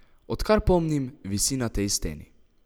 Odkar pomnim, visi na tej steni!